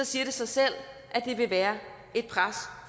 siger det sig selv at der vil være et pres